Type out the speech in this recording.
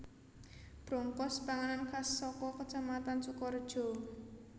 Brongkos panganan khas saka Kacamatan Sukorejo